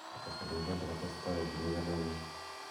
Kates kole Uganda kotesetai kokimite kalye nyin.